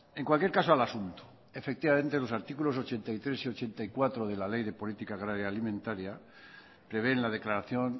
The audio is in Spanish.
en cualquier caso al asunto efectivamente los artículos ochenta y tres y ochenta y cuatro de la ley de política agraria y alimentaria prevén la declaración